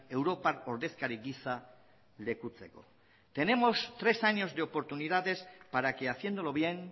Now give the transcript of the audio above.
europar ordezkari giza lekutzeko tenemos tres años de oportunidades para que haciéndolo bien